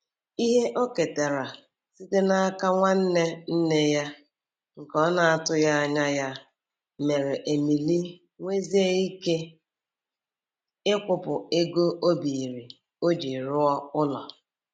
Ihe o ketara site n'aka nwanne nne ya nke ọ na-atụghị anya ya mere Emily nwezie ike ịkwụpụ ego o biiri o ji rụọ ụlọ.